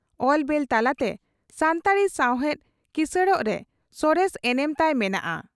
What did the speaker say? ᱚᱞ ᱵᱮᱞ ᱛᱟᱞᱟᱛᱮ ᱥᱟᱱᱛᱟᱲᱤ ᱥᱟᱣᱦᱮᱫ ᱠᱤᱥᱟᱹᱬᱚᱜ ᱨᱮ ᱥᱚᱨᱮᱥ ᱮᱱᱮᱢ ᱛᱟᱭ ᱢᱮᱱᱟᱜᱼᱟ ᱾